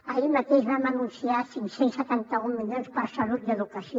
ahir mateix vam anunciar cinc cents i setanta un milions per a salut i educació